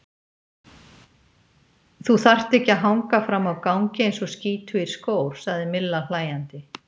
Þú þarft ekki að hanga frammi á gangi eins og skítugur skór, sagði Milla hlæjandi.